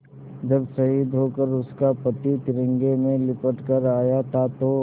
जब शहीद होकर उसका पति तिरंगे में लिपट कर आया था तो